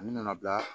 A nana bila